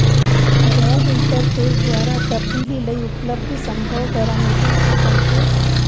web interface ਦੁਆਰਾ ਤਬਦੀਲੀ ਲਈ ਉਪਲੱਬਧ ਸੰਭਵ ਪੈਰਾਮੀਟਰ ਦੇ ਬਹੁਤੇ